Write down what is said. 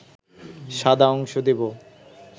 সাদা অংশ দেব